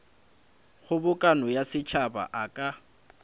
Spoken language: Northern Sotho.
kgobokano ya setšhaba a ka